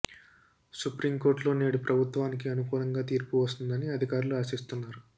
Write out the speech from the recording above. supreme కోర్టులో నేడు ప్రభుత్వానికి అనుకూలంగా తీర్పు వస్తుందని అధికారులు ఆశిస్తున్నారు